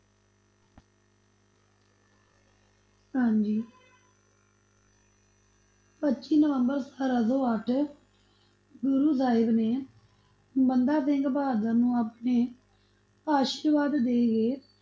ਹਾਂਜੀ ਪੱਚੀ ਨਵੰਬਰ ਸਤਾਰਾਂ ਸੌ ਅੱਠ, ਗੁਰੂ ਸਾਹਿਬ ਨੇ ਬੰਦਾ ਸਿੰਘ ਬਹਾਦਰ ਨੂੰ ਆਪਣੇ ਆਸ਼ੀਰਵਾਦ ਦੇਕੇ,